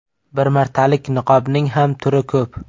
Bir martalik niqobning ham turi ko‘p.